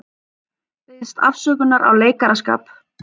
Biðst afsökunar á leikaraskap